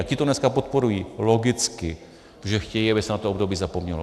A ti to dneska podporují - logicky, protože chtějí, aby se na to období zapomnělo.